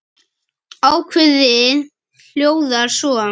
Ákvæðið hljóðar svo